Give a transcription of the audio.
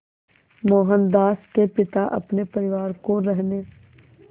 मोहनदास के पिता अपने परिवार को रहने